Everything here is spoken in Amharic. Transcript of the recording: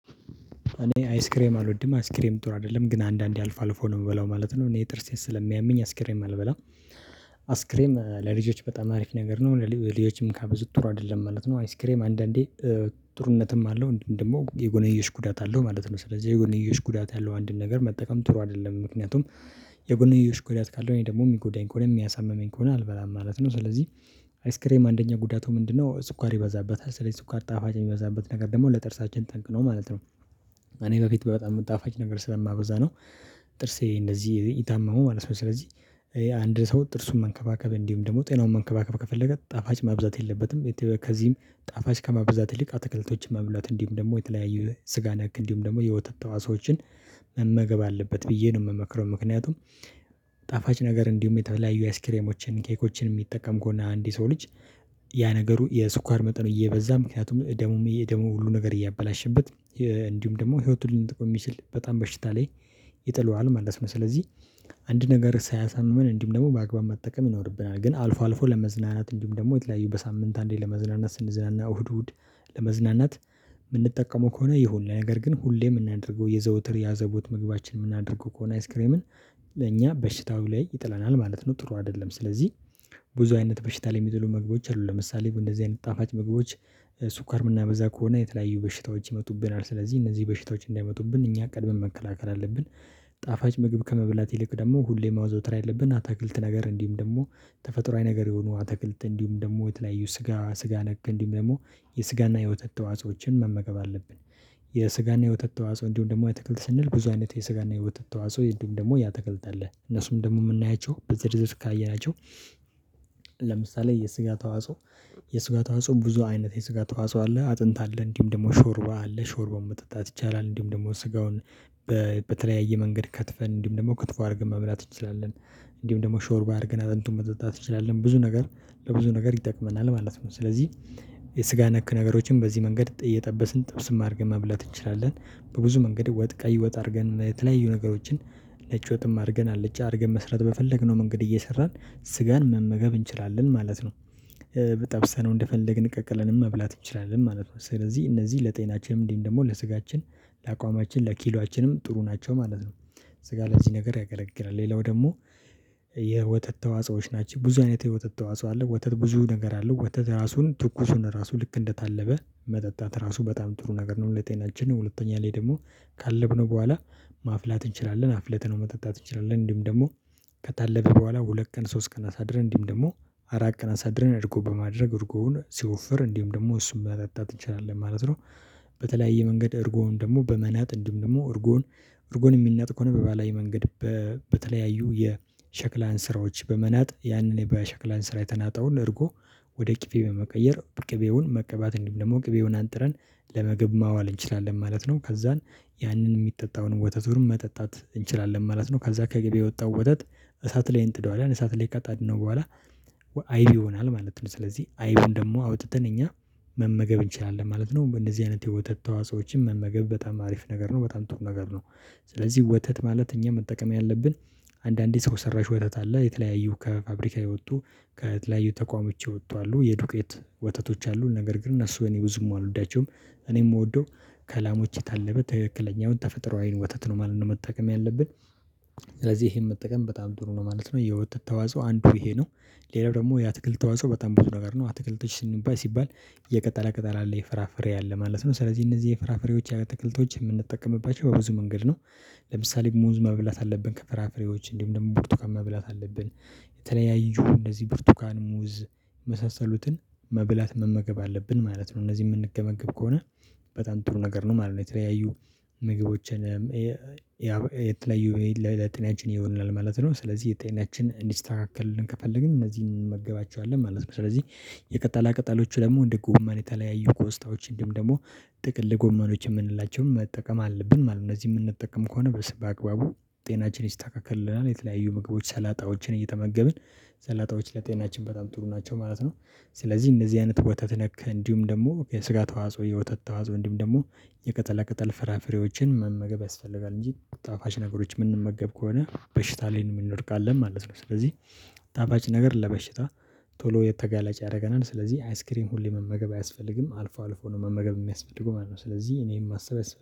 እኔ አይስክሬም አልወድም አይስክሬም ጥሩ አይደለም ግን አንዳንዴ አልፎ አልፎ ነው የምበላው ማለት ነው እኔ ጥርሴን ስለሚያምኝ አይስክሬም አልበላም። አይስክሬም ለልጆች በጣም አሪፍ ነገር ነው ለልጆችም ካበዙ ጥሩ አይደለም ማለት ነው። አይስክሬም አንዳንዴ ጥሩነትም አለው እንድህም ደግሞ የጎነየሽ ጉዳት አለው ማለት ነው። ስለዚህ የጎነየሽ ጉዳት ያለው አንድን ነገር መጠቀም ጥሩ አይደለም። ምክንያቱም የጎንዮሽ ጉዳት ካለው እኔ ደግሞ የሚጎዳኝ ከሆነ የሚያሳምመኝ ከሆነ አልበላም ማለት ነው። ስለዚህ አይስክሬም አንደኛ ጉዳቱ ምንድነው? ስኳር ይበዛበታል ስለዚህ ስኳር ጣፋጭ የሚበዛበት ነገር ደግሞ ለጥርሳችን ጠንቅ ነው ማለት ነው። እኔ በፊት በጣም የምጣፋጭ ነገር ስለማበዛ ነው። ጥርሴ እንደዚህ የታመመው ማለት ነው። ስለዚህ አንድ ሰው ጥርሱን መንከባከብ እንዲሁም ደግሞ ጤናውን መንከባከብ ከፈለገ ጣፋጭ ማብዛት የለበትም። ከዚህም ጣፋጭ ከመበዛት ይልቅ አተክለቶችን መብላት እንዲሁም ደግሞ የተለያዩ ስጋ ነክ እንዲሁም ደግሞ የወተት ተዋህጾዎችን መመገብ አለበት ብዬ ነው የምመክረው። ምክንያቱም ጣፋጭ ነገር እንዲሁም የተለያዩ አይስክሬሞችን ኬኮችን የሚጠቀም ከሆና አንድ ሰው ልጅ። ያ ነገሩ የስኳር መጠኑ እየበዛ ምክንያቱም ደሙ ደሙ ሁሉ ነገር እያበላሸበት። እንዲሁም ደግሞ ህይወቱን ልንጠቁም ይችል በጣም በሽታ ላይ ይጥለዋል ማለት ነው። ስለዚህ አንድ ነገር ሳያሳምን እንዲሁም ደግሞ በአግባብ መጠቀም ይኖርብናል። ግን አልፎ አልፎ ለመዝናናት እንድህም ደግሞ የተለያዩ በሳምንት አንዴ ለመዝናናት ስንዝናና እሁድ እሁድ የምንጠቀመው ከሆነ የሆነ ነገር ግን ሁሌም የምናደርገው የዘውትር ያዘቦት ምግባችን የምናደርገው ከሆነ አይስክሬምን ለእኛ በሽታው ላይ ይጥለናል ማለት ነው። ጥሩ አይደለም። ስለዚህ ብዙ አይነት በሽታ ላይ የሚጥሉ ምግቦች አሉ ለምሳሌ እንደዚህ አይነት ጣፋጭ ምግቦች ስኳር የምናበዛ ከሆነ የተለያዩ በሽታዎች ይመጡብናል ስለዚህ እነዚህ በሽታዎች እንዳይመጡብን እኛ ቀድመን መከላከል አለብን። ጣፋጭ ምግብ ከመበጠብላት ይልቅ ደግሞ ሁሌ ማዘውትር ያለብን አታክልት ነገር እንዲህም ደግሞ ተፈጥሮአዊ ነገር የሆኑ አተክልት እንዲህም ደግሞ የተለያዩ ስጋ ስጋ ነገ እንዲህም ደግሞ የስጋና የውተት ተዋጾዎችን መመገብ አለብን። የስጋና የወተት እና እንዲህም ደግሞ የአተክልት ስንል ብዙ አይነት የስጋና የወተት እንዲህም ደግሞ የአትክልት አለ እነሱም ደግሞ የምናያቸው በዝርዝር ካየናቸው። የስጋ ተዋጽኦ የስጋ ተዋጽኦ ብዙ አይነት የስጋ ተዋጽኦ አለ አጥንት አለ እንዲህም ደግሞ ሾርባ አለ ሾርባውን መጠጣት ይቻላል እንዲህም ደግሞ ስጋውን በተለያየ መንገድ ከትፈን እንዲሁም ደግሞ ክትፎ አድርገን መብላት እንችላለን። እንዲሁም ደግሞ ሾርባ አድርገን አለንቱን መጠጣት እንችላለን ብዙ ነገር ለብዙ ነገር ይጠቅመናል ማለት ነው። ስለዚህ የስጋ ነክ ነገሮችን በዚህ መንገድ ጥይ የጠበስን ጥብስም አድርገን መብላት እንችላለን በብዙ መንገድ ወጥ ቀይ ወጥ አድርገን የተለያዩ ነገሮችን ነጭ ወጥም አድርገን አልጨ አድርገን መስራት በፈለግነው መንገድ እየሰራን ስጋን መመገብ እንችላለን ማለት ነው። ብጠብሰነው እንደፈለግን ቀቅለን መብላት እንችላለን ማለት ነው። ስለዚህ እነዚህ ለጤናችንም እንዲህም ደግሞ ለስጋችን ለአቋማችን ለኪሏችንም ጥሩ ናቸው ማለት ነው። ስጋ ለዚህ ነገር ያገለግላል። ሌላው ደግሞ የወተት ተዋጾዎች ናቸው ብዙ አይነት የወተት ተዋጾ አለ ወተት ብዙ ነገር አለ ወተት የራሱን ትኩሱን እራሱ ልክ እንደታለበ መጠጣት እራሱ በጣም ጥሩ ነገር ነው። ለጤናችን ሁለተኛ ላይ ደግሞ ካለብነው በኋላ ማፍላት እንችላለን አፍለተነው መጠጣት እንችላልን። እንዲህም ደግሞ ከታለባ በኋላ ሁለት ቀን ሶስት ቀን አሳድረን እንዲህም ደግሞ አራት ቀን አሳድረን እርጎ በማድረግ እርጎውን ሲወፍር እንዲህም ደግሞ እሱን መጠጣት እንችላለን ማለት ነው። በተለያየ መንገድ እርጎዉን ደግሞ በመናጥ እንዲም ደግሞ እርጎዉን እርጎን የሚናጥ ከሆነ በባህላዊ መንገድ በተለያዩ የሸክላን ስራዎች በመናጥ ያንን የባሸክላን ስራ የተናጠውን እርጎ ወደ ቅቤ በመቀየር ቅቤውን መቀባት እንዲም ደግሞ ቅቤውን አንጥረን ለምግብ ማዋል እንችላለን ማለት ነው። ከዛን ያንን የሚጠጣውን ወተቱን መጠጣት እንችላለን ማለት ነው። ከዛ ከቅቤ የወጣውን ወተት እሳት ላይ እንጥደዋለን እሳት ላይ ከጣድነው በኋላ አይብ ይሆናል ማለት ነው። ስለዚህ አይቡን ደግሞ አውጥተን እኛ መመገብ እንችላለን ማለት ነው። እንደዚህ አይነት የወተት ተዋጾዎችን መመገብ በጣም አሪፍ ነገር ነው። በጣም ትሩ ነገር ነው። ስለዚህ ወተት ማለት እኛ መጠቀም ያለብን አንዳንዴ ሰው ሰራሽ ወተት አለ የተለያዩ ከፋብሪካ የወጡ ከተለያዩ ተቋምዎች የወጡ አሉ የዱቄት ወተቶች አሉ ነገር ግን እነሱ እኔ ብዙም አልወዳቸውም እኔ የምወደው ከላሞች የታለባ ትክክለኛውን ተፈጥሮአዊ ወተት ነው ማለት ነው መጠቀም ያለብን ስለዚህ ይሄን መጠቀም በጣም ጥሩ ነው ማለት ነው። የወተት ተዋጽኦ አንዱ ይሄ ነው። ሌላው ደግሞ የአትክልት ተዋጽኦ በጣም ብዙ ነገር ነው። አትክልቶች ስንባል ሲባል የቀጠለ ቅጠል አለ የፍራፍሬ አለ ማለት ነው ስለዚህ እነዚህ የፍራፍሬዎች የአትክልቶች የምንጠቀምባቸው በብዙ መንገድ ነው። ለምሳሌ ሙዝ መብላት አለብክ ፈራፈሬዎች እንዲሁም ደግሞ ብርቱካን መብላት አለብን። የተለያዩ እንደዚህ ብርቱካን ሙዝ የመሳሰሉትን መብላት መመገብ አለብን ማለት ነው። እነዚህ የምንመገብ ከሆነ በጣም ጥሩ ነገር ነው ማለት ነው። የተለያዩ ምግቦችን የተለያዩ ለጤናችን ይሆናል ማለት ነው። ስለዚህ የጤናችን እንዲስተካከል ከፈልግ እነዚህን እንመገባቸዋለን ማለት ነው። ስለዚህ የቀጠላ ቅጠሎቹ ደግሞ እንደ ጎመን የተለያዩ ቆስጣዎች እንድሁም ደግሞ ጥቅል ጎመኖች የምንላቸውን መጠቀም አለብን ማለት ነው። እነዚህ የምንጠቀም ከሆነ በስ በአግባቡ ጤናችን ይስተካከልናል የተለያዩ ምግቦች ሰላጣዎችን እየተመገብን ሰላጣዎች ለጤናችን በጣም ጥሩ ናቸው ማለት ነው። ስለዚህ እነዚህ አይነት ወተት ነክ እንዲሁም ደግሞ የስጋ ተዋጽ ወይ የወተት ተዋጽ እንድሁም ደግሞ የቀጠለ ቅጠል ፍራፍሬዎችን መመገብ ያስፈልጋል። እንጂ ጣፋጭ ነገሮች የምንመገብ ከሆነ በሽታ ላይ እንወድቃለን ማለት ነው። ስለዚህ ጣፋጭ ነገር ለበሽታ ቶሎ የተጋለጭ ያደረገናል ስለዚህ አይስክሪም ሁሌ መመገብ አያስፈልግም። አልፎ ነው መመገብ የሚያስፈልገው ማለት ነው። ስለዚህ እኔም ማሰብ